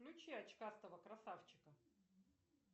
включи очкастого красавчика